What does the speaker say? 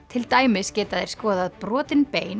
til dæmis geta þeir skoðað brotin bein